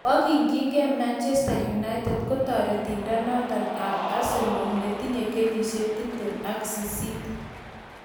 Makyingei Manchester United kotioriendenoto bo Senegal netinye kenyisiek tiptem ak sisit.